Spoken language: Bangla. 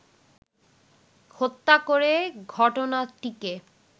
হত্যা করে ঘটনাটিকে